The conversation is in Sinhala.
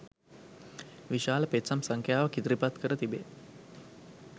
විශාල පෙත්සම් සංඛ්‍යාවක් ඉදිරිපත් කර තිබේ